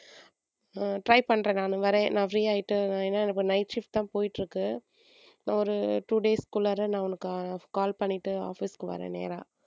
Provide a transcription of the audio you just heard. try பண்றேன் நானு வரேன் நான் free ஆகிட்டு ஏன்னா எனக்கு night shift தான் போயிட்டிருக்கு ஒரு two days குள்ளாற நான் உனக்கு call பண்ணிட்டு office க்கு வர்றேன் நேரா,